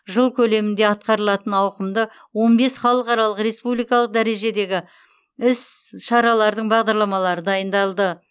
жыл көлемінде атқарылатын ауқымды он бес халықаралық республикалық дәрежедегі іс шаралардың бағдарламасы дайындалды